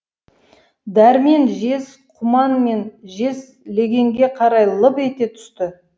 дәрмен жез құман мен жез легенге қарай лып ете түсті